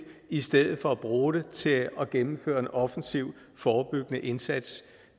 i stedet for at bruge det til at gennemføre en offensiv forebyggende indsats